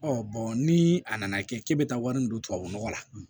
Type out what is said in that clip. ni a nana kɛ k'e bɛ taa wari min don tubabu nɔgɔ la